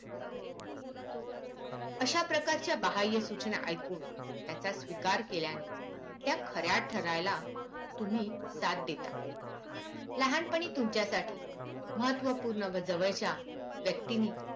अशा प्रकारच्या बाह्य सूचना एकूण त्याचा स्वीकार केल्याने त्या खऱ्या ठरायला तुम्ही साथ देता लहानपणी तुमच्या साठी महत्वपूर्ण व जवळच्या व्यक्तींनी